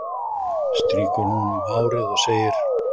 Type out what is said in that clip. Strýkur honum um hárið og segir